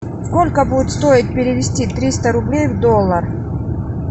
сколько будет стоить перевести триста рублей в доллар